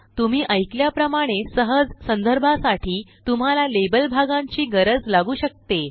तुम्ही ऐकल्याप्रमाणे सहजसंदर्भासाठीतुम्हाला लेबल भागांची गरज लागू शकते